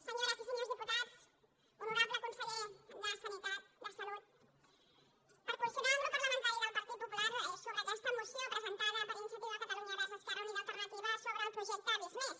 senyores i senyors diputats honorable conseller de salut per posicionar el grup parlamentari del partit popular sobre aquesta moció presentada per iniciativa catalunya verds esquerra unida i alternativa sobre el projecte visc+